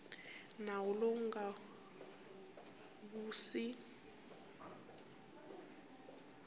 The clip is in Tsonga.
nawu lowu wu nga si